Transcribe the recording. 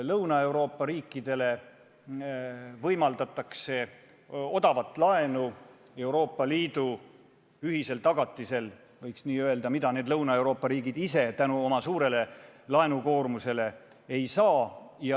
Lõuna-Euroopa riikidele võimaldatakse Euroopa Liidu ühisel tagatisel odavat laenu, sest Lõuna-Euroopa riigid ise seda oma suure laenukoormuse tõttu ei saa.